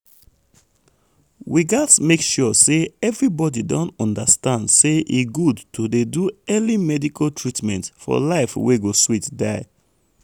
we gats make sure say everybody don understand say e good to dey do early medical treatment for life wey go sweet die.